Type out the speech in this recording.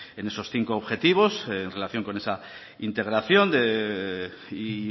en esos cinco objetivos en relación con esa integración y